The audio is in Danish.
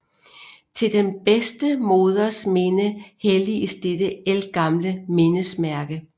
Til den bedste moders minde helliges dette ældgamle mindesmærke